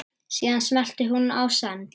Síðan smellti hún á send.